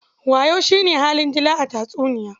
Wayo shi ne halin dila tatuniya.